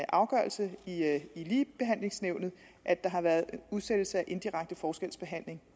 afgørelse at at der har været udsættelse for indirekte forskelsbehandling